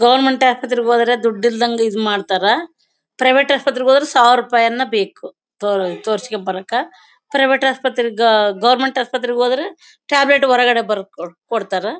Government ಆಸ್ಪತ್ರೆಗೆ ಹೋದ್ರೆ ದುಡ್ಡಿಲ್ದೆ ಇದ್ ಮಾಡ್ತಾರೆ ಪ್ರೈವೇಟ್ ಆಸ್ಪತ್ರೆಗೆ ಹೋದ್ರೆ ಸಾವಿರ ರೂಪಾಯಿ ಯನ್ನ ಬೇಕು ಟು ತೋರಿಸಿಕೊಂಡ್ ಬರಾಕ್ ಪ್ರೈವೇಟ್ ಆಸ್ಪತ್ರೆ ಗ ಗವರ್ನಮೆಂಟ್ ಆಸ್ಪತ್ರೆಗೆ ಹೋದ್ರೆ ಟ್ಯಾಬ್ಲೆಟ್ ಹೊರಗಡೆ ಬರೆದು ಕೊಡ್ತಾರೆ.